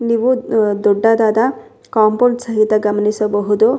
ನೀವು ದೊಡ್ಡದಾದ ಕಾಂಪೋಂಡ್ ಸಹಿತ ಗಮನಿಸಬಹುದು.